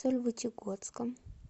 сольвычегодском